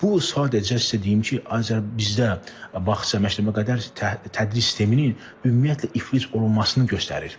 Bu sadəcə sizə deyim ki, bizdə bağça məktəbə qədər tədris sisteminin ümumiyyətlə iflic olunmasını göstərir.